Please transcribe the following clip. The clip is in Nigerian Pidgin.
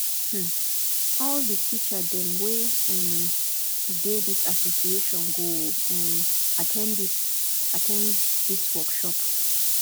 um all di teacher dem wey um dey dis association go um at ten d dis at ten d dis workshop